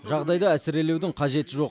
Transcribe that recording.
жағдайды әсірелеудің қажеті жоқ